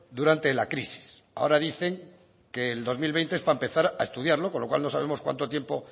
durante la crisis ahora dicen que el dos mil veinte es para empezar a estudiarlo con lo cual no sabemos cuánto tiempo